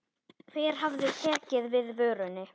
Hver hafi tekið við vörunni?